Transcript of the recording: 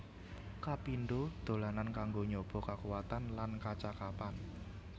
Kapindho dolanan kanggo nyoba kakuwatan lan kacakapan